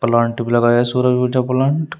plant भी लगाया है प्लांट --